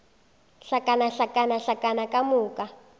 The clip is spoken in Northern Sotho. hlakana hlakana hlakana ka moka